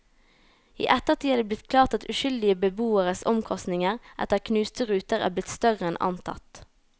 I ettertid er det blitt klart at uskyldige beboeres omkostninger etter knuste ruter er blitt større enn antatt.